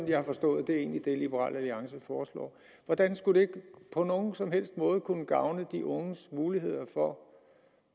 jeg har forstået liberal alliance foreslår hvordan skulle det på nogen som helst måde kunne gavne de unges muligheder for